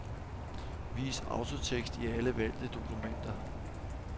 Vis autotekst i alle valgte dokumenter.